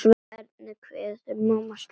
Hvernig kveður maður slíka konu?